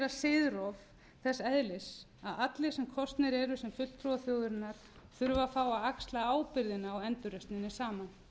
siðrof þess eðlis að allir sem kosnir eru sem fulltrúar þjóðarinnar þurfi að fá að axla ábyrgðina á endurreisninni saman